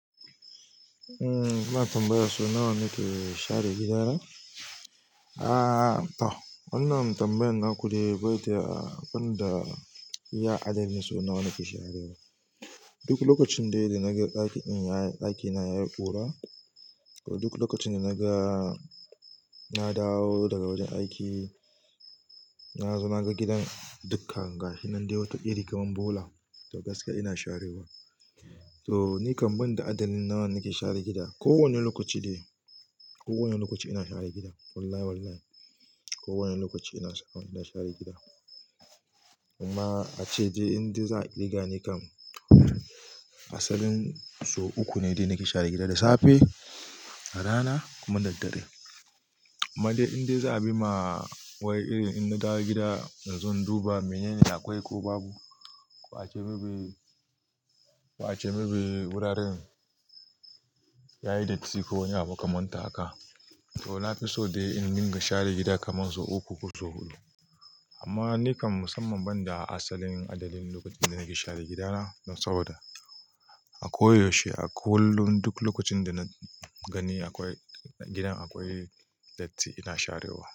Eh, ina tambayar so nawa nake share gidana? A'a, tau. Wannan tambayan naku ɗai bai da abin da ya adaini so nawa nake sharewa. Duk lokacin dai da na ga ɗakin din ya dakin na yayi ƙura, duk lokacin da na ga--na dawo daga wajen aiki, na zo na ga gidan dukan gashi nan dai wata iri kamar bola, to gaskiya ina sharewa. To, ni kam ban da adali nawa nake share gida. Ko wanne lokaci dai, ko wanne lokaci ina share gida. Wallahi, wallahi ko wanne lokaci ina share gida. Amma ace je, inda za a kirga ne kam asalin sau uku ne dai nake share gida, da safe, da rana kuma da dare. Amma dai inda za a bi ma wai iri ina dawo gida yanzu duba menene akwai ko babu. Ko a ce maybe wuraren yayi datti ko wani abu ya kamanta haka. To, na fi so dai in dinga share gida kaman sau uku ko sau huɗu. Amma ni kam musamman ban da asalin adalin lokacin da nake share gida na. Saboda a koyaushe, a kullum, duk lokacin da na gani akwai gidan akwai datti, ina sharewa.